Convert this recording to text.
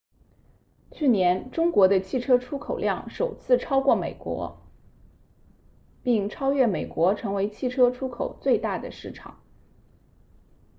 去年中国的汽车出口量首次超过德国并超越美国成为汽车出口最大的市场